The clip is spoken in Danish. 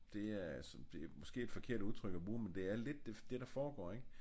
Det er det er måske et forkert udtryk at bruge men det er lidt det der foregår ik